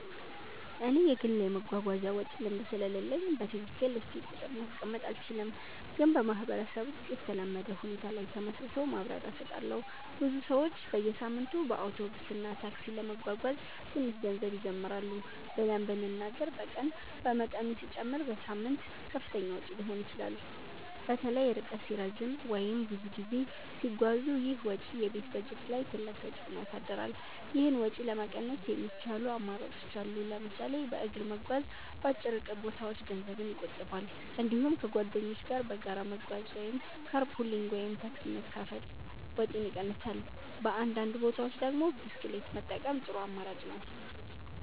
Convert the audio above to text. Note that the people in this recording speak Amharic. እኔ የግል የመጓጓዣ ወጪ ልምድ ስለሌለኝ በትክክል እስቲ ቁጥር ማስቀመጥ አልችልም፣ ግን በማህበረሰብ ውስጥ የተለመደ ሁኔታ ላይ ተመስርቶ ማብራሪያ እሰጣለሁ። ብዙ ሰዎች በየሳምንቱ በአውቶቡስ እና ታክሲ ለመጓጓዝ ትንሽ ገንዘብ ይጀምራሉ ብለን ብንናገር በቀን በመጠኑ ሲጨመር በሳምንት ከፍተኛ ወጪ ሊሆን ይችላል። በተለይ ርቀት ሲረዝም ወይም ብዙ ጊዜ ሲጓዙ ይህ ወጪ የቤት በጀት ላይ ትልቅ ተፅዕኖ ያሳድራል። ይህን ወጪ ለመቀነስ የሚቻሉ አማራጮች አሉ። ለምሳሌ በእግር መጓዝ በአጭር ርቀት ቦታዎች ገንዘብ ይቆጥባል። እንዲሁም ከጓደኞች ጋር በጋራ መጓጓዝ (car pooling ወይም ታክሲ መካፈል) ወጪን ይቀንሳል። በአንዳንድ ቦታዎች ደግሞ ብስክሌት መጠቀም ጥሩ አማራጭ ነው።